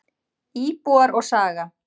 Íbúar og saga.